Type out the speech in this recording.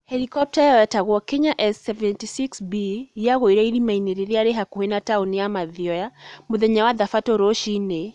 Helikopta ĩyo yetagwo Kenya S-76B, yagũire irĩma-inĩ iria irĩ hakuhĩ na taũni ya Mathioya mũthenya wa Thabatũ rũcinĩ.